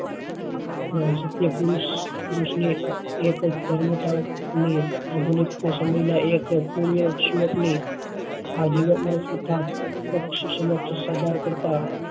હોય શક્ય પુરુષ પુરુષ ની એક જન્મસ્થળ ની આધુનિક સમય નાં એક પૂર્ય આ જીવન માં તથા પક્ષ સમક્ષ સબાર કરતા